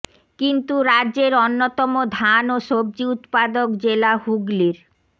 কিন্তু রাজ্যের অন্যতম ধান ও সব্জি উৎপাদক জেলা হুগলির